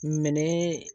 Minɛn